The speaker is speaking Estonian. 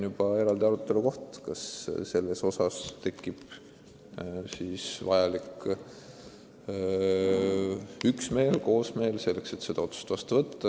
Aga eks arutelus selgu, kas me saavutame vajaliku üksmeele, et see otsus vastu võtta.